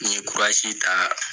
N ye kurasi ta